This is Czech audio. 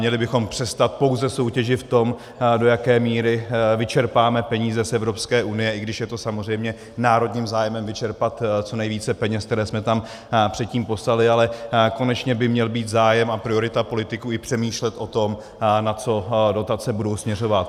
Měli bychom přestat pouze soutěžit v tom, do jaké míry vyčerpáme peníze z Evropské unie, i když je to samozřejmě národním zájmem vyčerpat co nejvíce peněz, které jsme tam předtím poslali, ale konečně by měl být zájem a priorita politiků i přemýšlet o tom, na co dotace budou směřovat.